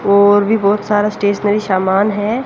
और भी बहोत सारा स्टेशनरी शामान है।